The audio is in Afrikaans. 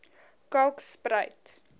kalkspruit